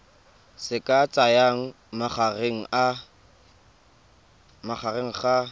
se ka tsayang magareng ga